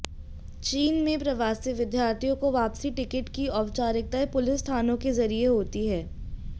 चीन में प्रवासी विद्यार्थियों को वापसी टिकट की औपचारिकताएं पुलिस थानों के जरिए होती हैं